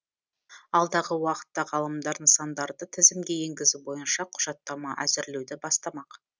алдағы уақытта ғалымдар нысандарды тізімге енгізу бойынша құжаттама әзірлеуді бастамақ